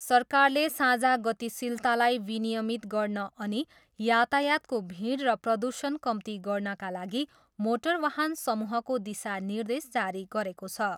सरकारले साझा गतिशीलतालाई विनियमित गर्न अनि यातायातको भिड र प्रदूषण कम्ती गर्नाका लागि मोटर वाहन समूहको दिशानिर्देश जारी गरेको छ।